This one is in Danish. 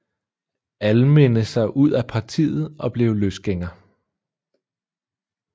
Alminde sig ud af partiet og blev løsgænger